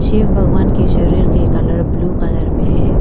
शिव भगवान की शरीर की कलर ब्ल्यू कलर में है।